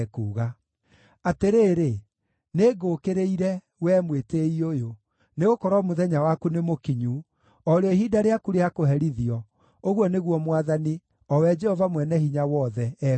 “Atĩrĩrĩ, nĩngũũkĩrĩire, wee mwĩtĩĩi ũyũ, nĩgũkorwo mũthenya waku nĩmũkinyu, o rĩo ihinda rĩaku rĩa kũherithio,” ũguo nĩguo Mwathani, o we Jehova-Mwene-Hinya-Wothe, ekuuga.